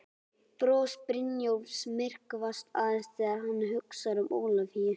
Bros Brynjólfs myrkvast aðeins þegar hann hugsar um Ólafíu.